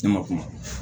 Ne ma kuma